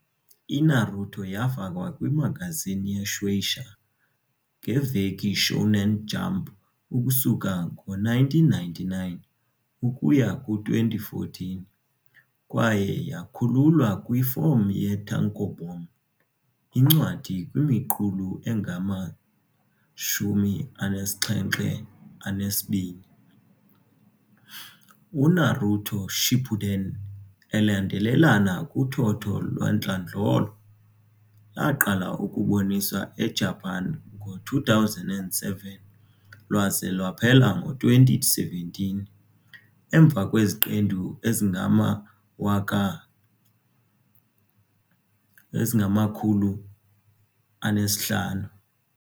I-Naruto yafakwa kwi-magazine ye-Shueisha, ngeveki Shonen Jump ukusuka ngo-1999 ukuya ku-2014, kwaye yakhululwa kwifom ye-tankobon, incwadi, kwimiqulu engama-72. UNaruto, Shippuden, elandelelana kuthotho lwantlandlolo, laqala ukuboniswa eJapan ngo-2007, lwaze lwaphela ngo-2017, emva kweziqendu ezingama-500.